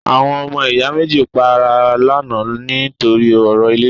Àwọn ọmọ ìyá méjì pa ara lánàá ní torí ọ̀rọ̀ ilẹ̀